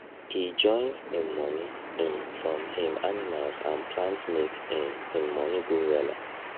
e join him money um from him animals and plants make um him money go wella